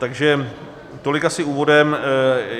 Takže tolik asi úvodem.